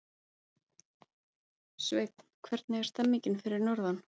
Sveinn, hvernig er stemningin fyrir norðan?